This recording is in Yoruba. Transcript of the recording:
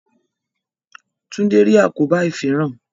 Tunde rí àkóbá ifinran